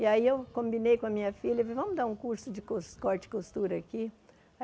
E aí eu combinei com a minha filha e, vamos dar um curso de cos corte e costura aqui.